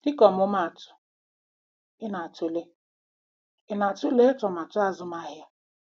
Dịka ọmụmaatụ, ị na-atụle ị na-atụle atụmatụ azụmahịa?